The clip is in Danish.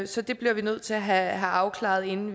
så det bliver vi nødt til at have afklaret inden